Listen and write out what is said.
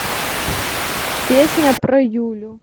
песня про юлю